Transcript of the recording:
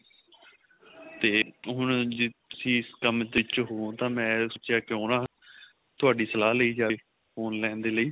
ਤੇ ਹੁਣ ਤੁਸੀਂ ਇਸ ਕੰਮ ਵਿੱਚ ਹੋ ਤਾਂ ਮੈਂ ਸੋਚਿਆ ਕਿਉਂ ਨਾ ਤੁਹਾਡੀ ਸਲਾਹ ਲਈ ਜਾਵੇਂ phone ਲੈਣ ਦੇ ਲਈ